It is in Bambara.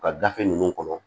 U ka gafe ninnu kɔnɔ